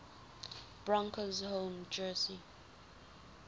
broncos home jersey